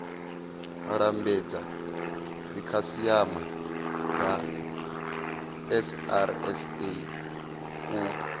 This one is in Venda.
lambedza dzikhasiama dza srsa u